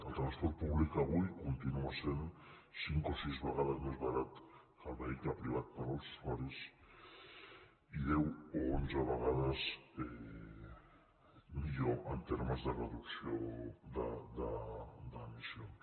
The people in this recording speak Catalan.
el transport públic avui continua sent cinc o sis vegades més barat que el vehicle privat per als usuaris i deu o onze vegades millor en termes de reducció d’emissions